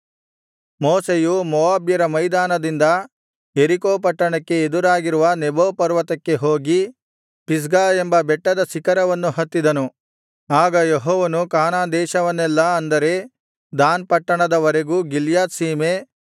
ಮೋಶೆಯು ಮೋವಾಬ್ಯರ ಮೈದಾನದಿಂದ ಯೆರಿಕೋ ಪಟ್ಟಣಕ್ಕೆ ಎದುರಾಗಿರುವ ನೆಬೋ ಪರ್ವತಕ್ಕೆ ಹೋಗಿ ಪಿಸ್ಗಾ ಎಂಬ ಬೆಟ್ಟದ ಶಿಖರವನ್ನು ಹತ್ತಿದನು ಆಗ ಯೆಹೋವನು ಕಾನಾನ್ ದೇಶವನ್ನೆಲ್ಲಾ ಅಂದರೆ ದಾನ್ ಪಟ್ಟಣದ ವರೆಗೂ ಗಿಲ್ಯಾದ್ ಸೀಮೆ